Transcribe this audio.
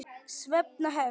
Svenna hefst.